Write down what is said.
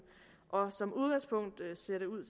og som udgangspunkt ser det ud